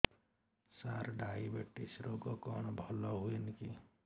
ସାର diabetes ରୋଗ କଣ ଭଲ ହୁଏନି କି